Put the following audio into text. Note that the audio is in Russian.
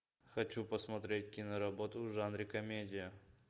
хочу посмотреть киноработу в жанре комедия